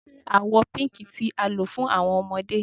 Ṣe awọ Pink ti a lo fun awọn ọmọde